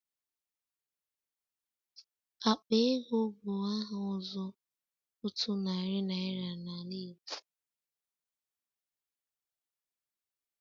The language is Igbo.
Akpa ego bụ aha ọzọ otu narị naira na ala Igbo.